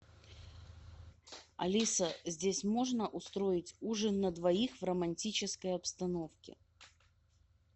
алиса здесь можно устроить ужин на двоих в романтической обстановке